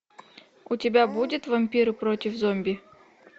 у тебя будет вампиры против зомби